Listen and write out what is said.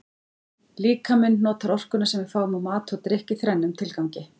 Líkaminn notar orkuna sem við fáum úr mat og drykk í þrennum tilgangi.